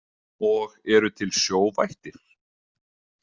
Og eru til sjóvættir?